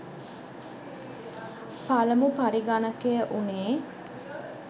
පළමු පරිගණකය වුණේ.